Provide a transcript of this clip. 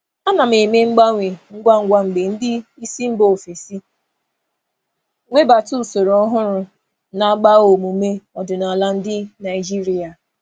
Ana m emegharị ngwa ngwa mgbe ndị oga si mba ọzọ na-ewebata usoro ọhụrụ nke na-ama omume Naịjirịa ọdịnala aka.